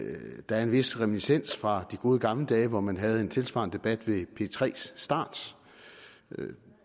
er en vis reminiscens fra de gode gamle dage hvor man havde en tilsvarende debat ved p tre start